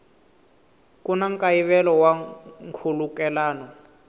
ku na nkayivelo wa nkhulukelano